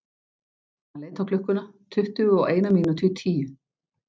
Hann leit á klukkuna: tuttugu og eina mínútu í tíu.